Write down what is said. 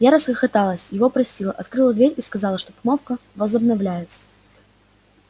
я расхохоталась его простила открыла дверь и сказала что помолвка возобновляется